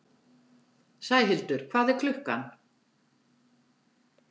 Sæhildur, hvað er klukkan?